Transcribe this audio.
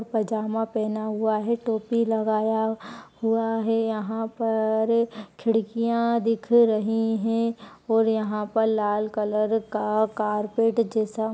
पजामा पहना हुआ है टोपी लगाया हुआ है यहाँ पर खिड़कियाँ दिख रही हैं और यहाँ पर लाल कलर का कारपेट जैसा --